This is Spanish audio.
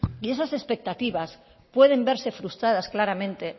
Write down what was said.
y esas expectativas pueden verse frustradas claramente